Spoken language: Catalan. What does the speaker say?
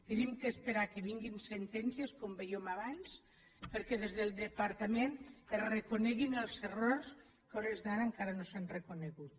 hem d’esperar que vinguin sentències com vèiem abans perquè des del departament es reconeguin els errors que a hores d’ara encara no s’han reconegut